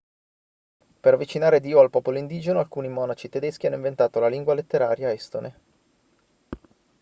per avvicinare dio al popolo indigeno alcuni monaci tedeschi hanno inventato la lingua letteraria estone